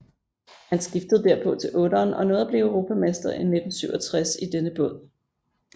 Han skiftede derpå til otteren og nåede at blive europamester i 1967 i denne båd